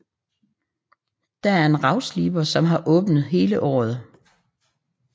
Der er en ravsliber som har åbent hele året